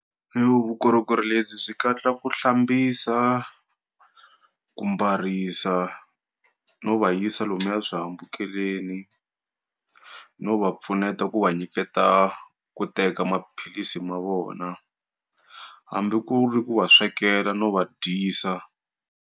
vukorhokeri lebyi byi katsa ku hlambisa, ku mbarisa no va yisa lomuya swihambukeleni no va pfuneta ku va nyiketa ku teka maphilisi ma vona hambi ku ri ku va swekela no va dyisa.